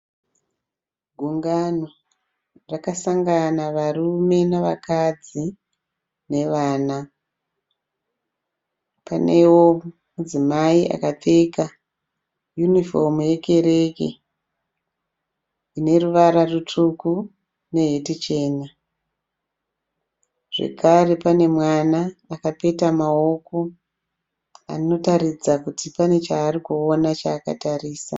Gungano rakasangana varume nevakadzi nevana panevo mudzimai akapfeka hunifomu yekereke ine ruvara rutsvuku neheti chena zvekare pane mwana akapeta maoko anotaridza kut pane chaakatarisa.